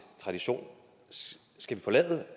tradition skal vi forlade